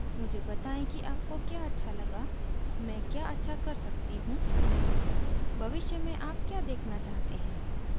मुझे बताये कि आपको क्या अच्छा लगा मैं क्या अच्छा कर सकती हूँ भविष्य में आप क्या देखना चाहते हैं